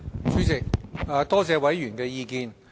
主席，多謝委員的意見。